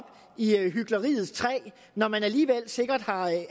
i hykleriets træ når man alligevel sikkert har